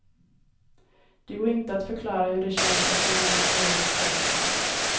Det går inte att förklara hur det känns att se något sådant, säger han.